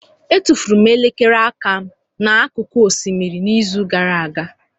Etufuru m elekere aka m n'akụkụ osimiri n'izu gara aga.